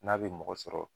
N'a bɛ mɔgɔ sɔrɔ